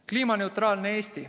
Kliimaneutraalne Eesti.